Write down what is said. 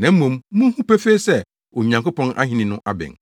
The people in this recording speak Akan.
na mmom munhu pefee sɛ, Onyankopɔn ahenni no abɛn.’